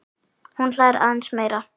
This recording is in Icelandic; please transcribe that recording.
Hún hlær aðeins meira.